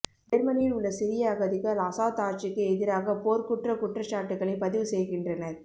ஜேர்மனியில் உள்ள சிரிய அகதிகள் அசாத் ஆட்சிக்கு எதிராக போர்க்குற்ற குற்றச்சாட்டுகளை பதிவு செய்கின்றனர்